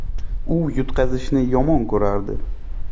U yutqazishni yomon ko‘rardi.